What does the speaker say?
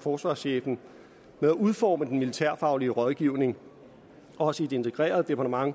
forsvarschefen med at udforme den militærfaglig rådgivning også i et integreret departement